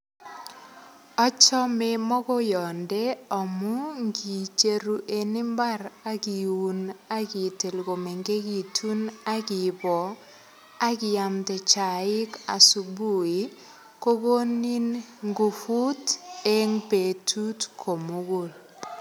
Achome mogoyonde amu ngicheru en mbar ak iun ak itil komengekitun ak iboo ak iamde chaik asubuhi ko konin nguvut en betut komugul